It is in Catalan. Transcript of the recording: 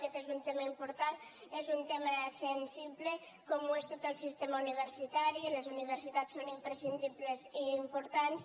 aquest és un tema important és un tema sensible com ho és tot el sistema universitari les universitats són imprescindibles i importants